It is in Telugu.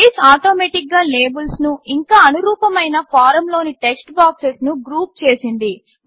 బేస్ ఆటోమేటిక్గా లేబుల్స్ను ఇంకా అనురూపమైన ఫారమ్లోని టెక్స్ట్బాక్సెస్ను గ్రూప్ చేసింది